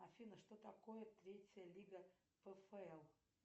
афина что такое третья лига пфл